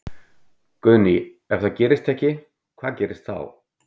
Guðný: Ef það gerist ekki, hvað gerist þá?